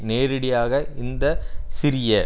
நேரடியாக இந்த சிறிய